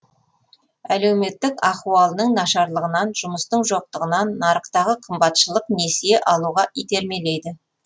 әлеуметтік ахуалының нашарлығынан жұмыстың жоқтығынан нарықтағы қымбатшылық несие алуға итермелейді